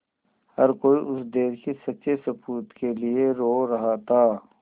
हर कोई उस देश के सच्चे सपूत के लिए रो रहा था